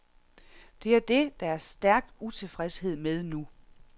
Det er det, der er stærk utilfredshed med nu.